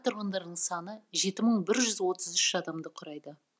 тұрғындарының саны жеті мың бір жүз отыз үш адамды құрайды